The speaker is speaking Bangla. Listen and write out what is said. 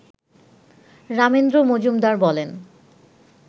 রামেন্দ্র মজুমদার বলেন